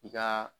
I ka